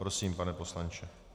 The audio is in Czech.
Prosím, pane poslanče.